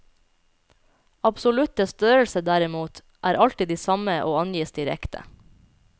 Absolutte størrelser, derimot, er alltid de samme og angis direkte.